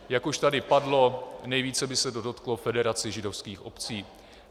Jak už tady padlo, nejvíce by se to dotklo Federace židovských obcí.